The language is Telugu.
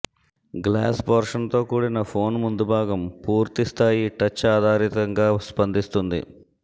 గ్లాస్ పోర్షన్తో కూడిన పోన్ ముందుభాగం పూర్తిస్థాయి టచ్ ఆధారితంగా స్పందిస్తుంది